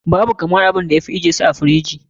Babu abinda ya fi kamar ajje su a firiji.